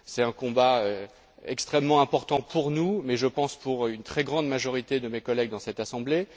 C'est un combat extrêmement important pour nous, mais je pense aussi pour une très grande majorité de mes collègues dans cette assemblée.